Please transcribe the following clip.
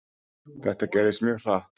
Þetta gerðist mjög hratt.